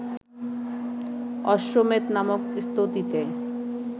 অশ্বমেধ নামক স্তুতিতে